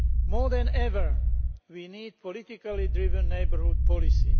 More than ever, we need a politically driven neighbourhood policy.